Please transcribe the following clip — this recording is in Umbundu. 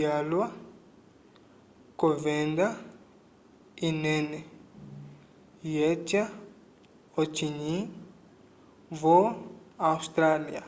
yalwa k'ovenda inene yeca ocinyi vo-austrália